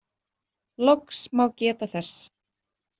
Loks má geta þess.